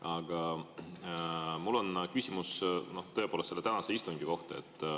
Aga mul on küsimus tõepoolest selle tänase istungi kohta.